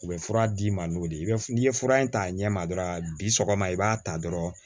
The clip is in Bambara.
U bɛ fura d'i ma n'o de ye n'i ye fura in ta a ɲɛ ma dɔrɔn bi sɔgɔma i b'a ta dɔrɔn